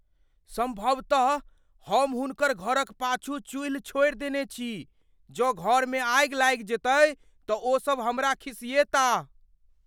सम्भवतः हम हुनकर घरक पाछू चुईल्ह छोड़ि देने छी। जँ घरमे आगि लागि जेतै तँ ओसभ हमरा खिसिएताह।